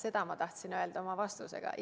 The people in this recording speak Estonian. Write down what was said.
Seda ma tahtsin öelda oma vastusega.